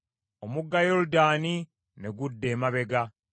Ggwe ennyanja, lwaki wadduka? Ggwe Yoludaani, lwaki wadda emabega?